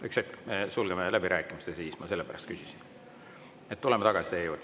Üks hetk, me sulgeme läbirääkimised ja siis – ma sellepärast küsisin – tuleme tagasi teie juurde.